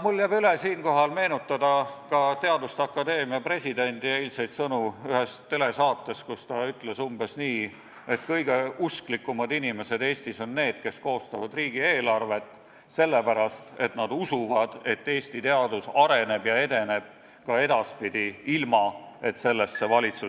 Mul jääb üle siinkohal meenutada ka teaduste akadeemia presidendi eilseid sõnu ühes telesaates, kus ta ütles umbes nii, et kõige usklikumad inimesed Eestis on need, kes koostavad riigieelarvet, sellepärast et nad usuvad, et Eesti teadus areneb ja edeneb ka edaspidi ilma, et valitsus